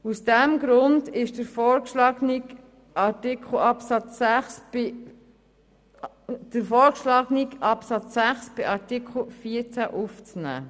Aus diesem Grund ist der vorgeschlagene Absatz 6 in Artikel 14 aufzunehmen.